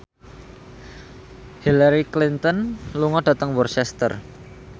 Hillary Clinton lunga dhateng Worcester